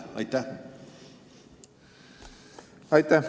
Aitäh!